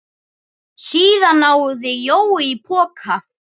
Síðan náði Jói í poka.